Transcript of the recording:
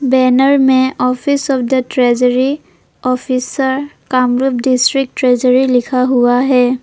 Banner में office of the treasury officer Kamrup district treasury लिखा हुआ है।